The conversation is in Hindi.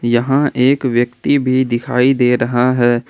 यहां एक व्यक्ति भी दिखाई दे रहा है।